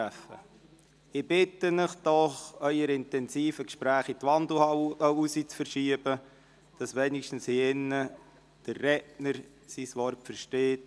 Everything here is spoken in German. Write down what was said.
Dennoch bitte ich Sie, Ihre intensiven Gespräche in der Wandelhalle weiterzuführen, damit hier drinnen wenigstens der Redner sein eigenes Wort versteht.